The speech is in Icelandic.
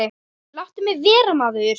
Láttu mig vera maður.